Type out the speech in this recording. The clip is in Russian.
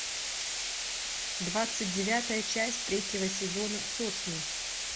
двадцать девятая часть третьего сезона сосны